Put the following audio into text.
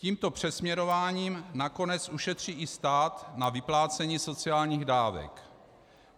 Tímto přesměrováním nakonec ušetří i stát na vyplácení sociálních dávek.